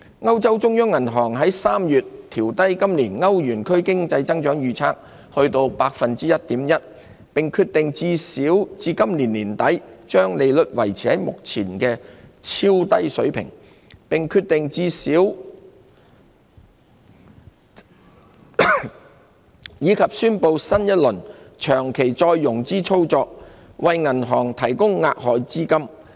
歐洲中央銀行3月調低歐元區今年經濟增長的預測至 1.1%， 並決定把利率維持在目前的超低水平至最少今年年底，以及宣布新一輪長期再融資操作，為銀行提供額外資金。